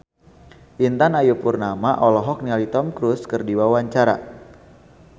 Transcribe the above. Intan Ayu Purnama olohok ningali Tom Cruise keur diwawancara